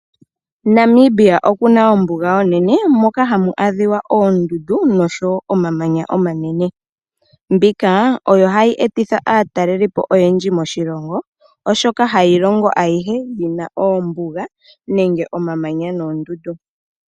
Namibia okuna ombuga onene moka hamu adhiwa oondundu nosho woo omamanya omanene. Mbika oyo hayi e ti tha aataleliipo oyendji moshilongo oshoka hayi longo ayihe yina oombuga nenge omamanya noondundu.